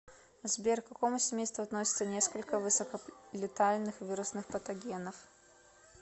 сбер к какому семейству относятся несколько высоколетальных вирусных патогенов